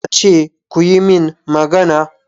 Na ce kuyi min magana!